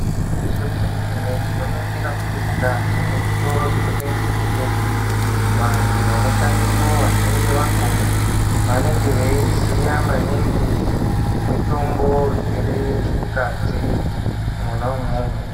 Gwinyiso remene mene tinongura kuti mukati mezvitoro zvinotengeswa mitombo vantu vanoshandamo vazhinji vakona vanenge veiziva maningi ngemitombo iri mukati Mona imomo.